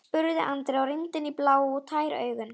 spurði Andri og rýndi inn í blá og tær augun.